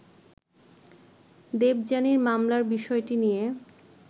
দেবযানীর মামলার বিষয়টি নিয়ে